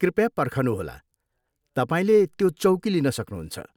कृपया पर्खनुहोला, तपाईँले त्यो चौकी लिन सक्नुहुन्छ।